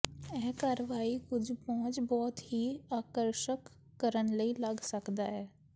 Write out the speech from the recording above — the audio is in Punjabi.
ਇਹ ਕਾਰਵਾਈ ਕੁਝ ਪਹੁੰਚ ਬਹੁਤ ਹੀ ਆਕਰਸ਼ਕ ਕਰਨ ਲਈ ਲੱਗ ਸਕਦਾ ਹੈ